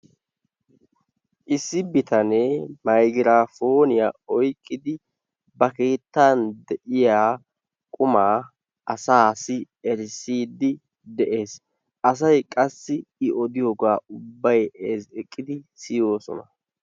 Issi bitane maygiraponiyaa oyqqidi ba keettaan deiyaa qumaa asasi erissidi de'ees. Asay qassi i odiyoga ubbay ezzgiqidi siyosona.